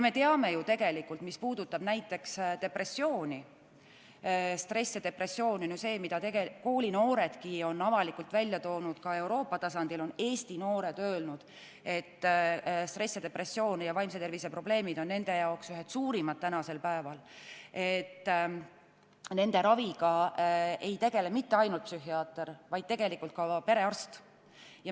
Me teame ju tegelikult sedagi, et näiteks depressiooni ja stressi – Eesti koolinooredki on avalikult välja öelnud, et stress ja depressioon ning vaimse tervise probleemid on nende jaoks täna ühed suurimad – raviga ei tegele mitte ainult psühhiaater, vaid ka perearst.